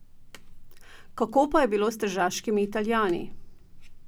Kako pa je bilo s tržaškimi Italijani?